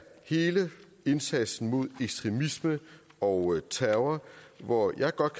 hele indsatsen mod ekstremisme og terror hvor jeg godt